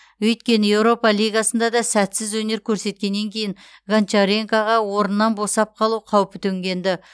өйткені еуропа лигасында да сәтсіз өнер көрсеткеннен кейін гончаренкоға орнынан босап қалу қаупі төнген ді